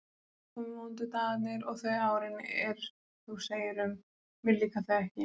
Svo komu vondu dagarnir og þau árin, er þú segir um: mér líka þau ekki.